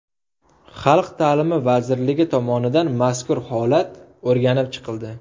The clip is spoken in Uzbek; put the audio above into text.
Xalq ta’limi vazirligi tomonidan mazkur holat o‘rganib chiqildi.